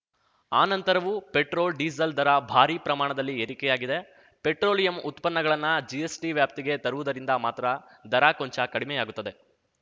ಆ ನಂತರವೂ ಪೆಟ್ರೋಲ್‌ಡೀಸೆಲ್‌ ದರ ಭಾರಿ ಪ್ರಮಾಣದಲ್ಲಿ ಏರಿಕೆಯಾಗಿದೆ ಪೆಟ್ರೋಲಿಯಂ ಉತ್ಪನ್ನಗಳನ್ನ ಜಿಎಸ್‌ಟಿ ವ್ಯಾಪ್ತಿಗೆ ತರುವುದರಿಂದ ಮಾತ್ರ ದರ ಕೊಂಚ ಕಡಿಮೆಯಾಗುತ್ತದೆ